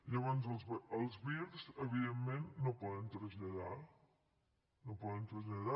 llavors els vir evidentment no poden traslladar no poden traslladar